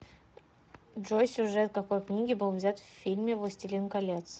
джой сюжет какои книги был взят в фильме властелин колец